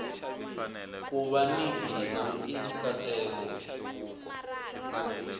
kuva ni bindzu i nkateko